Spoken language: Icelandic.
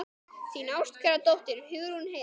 Þín ástkæra dóttir, Hugrún Heiða.